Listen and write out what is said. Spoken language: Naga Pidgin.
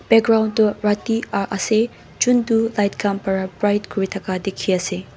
background toh rati ah ase chuntu light kan bara bright kuritaka teki ase.